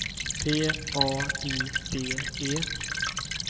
P A I D E